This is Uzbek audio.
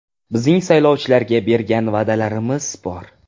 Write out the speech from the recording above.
Bizning saylovchilarga bergan va’dalarimiz bor.